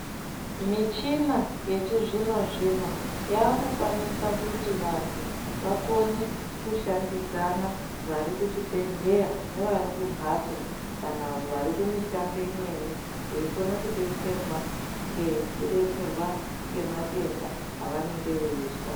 Michina yechizvino zvino yakukwanisa kuti vantu vakone kushandidzana vari kuzvibhedhlera nevarikumhatso kana varikumishando imweni veikone kudetserwa ngekudetserwa ngematenda avanenge veizwa.